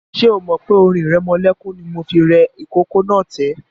Ṣé o mọ̀ pé orin ìrẹmọlẹ́kún ni mo fi rẹ ìkókó náà tẹ́?